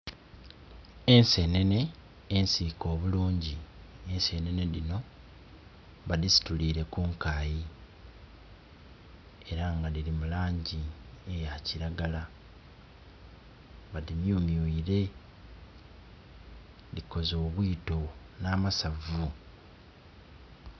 Ensenene ensike obulungi, ensenene dhino ba dhisitulire ku nkayi era nga dhiri mu langi eya kilagala. Badimyumyuire, dhikoze obwiito na masavu.